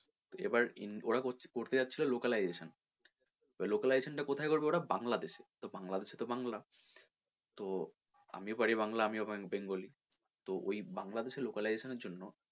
তো এবার in ওরা করছিলো করতে চাইছিলো localization এবার localization টা কোথায় করবে ওরা বাংলাদেশে তো বাংলাদেশে তো বাংলা তো আমিও পারি বাংলা আমিও bengali তো ওই বাংলা দেশের localization এর জন্য,